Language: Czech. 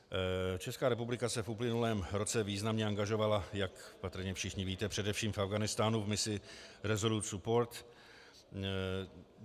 Česká republika se v uplynulém roce významně angažovala, jak patrně všichni víte, především v Afghánistánu v misi Resolute Support.